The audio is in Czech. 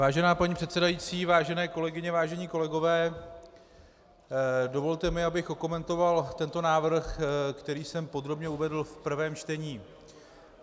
Vážená paní předsedající, vážené kolegyně, vážení kolegové, dovolte mi, abych okomentoval tento návrh, který jsem podrobně uvedl v prvém čtení.